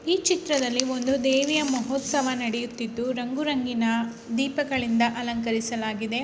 ಈ ಚಿತ್ರದಲ್ಲಿ ಒಂದು ದೇವಿಯ ಮುಹೂತ್ಸವ ನಡೆಯುತ್ತಿದು ರಂಗು ರಂಗಿನ ದೀಪಗಳಿಂದ ಅಲಂಕೃಸಲಾಗಿದೆ.